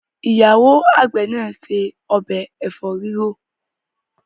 ìyàwó àgbè ni ṣe Ọbẹ̀ efo rirọ.